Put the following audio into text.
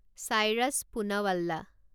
Cyrus Poonawalla